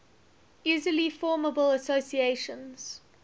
easily formable associations